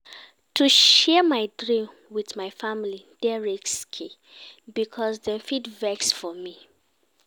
To share my dream wit my family dey risky because dem fit vex for me.